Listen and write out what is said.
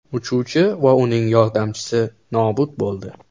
Uchuvchi va uning yordamchisi nobud bo‘ldi.